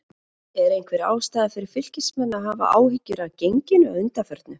Er einhver ástæða fyrir Fylkismenn að hafa áhyggjur af genginu að undanförnu?